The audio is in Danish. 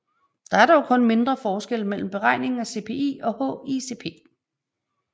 Der er dog kun mindre forskelle mellem beregningen af CPI og HICP